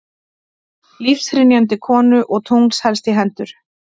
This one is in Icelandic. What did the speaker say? Lífshrynjandi konu og tungls helst í hendur.